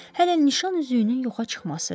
Hələ nişan üzüyünün yoxa çıxması?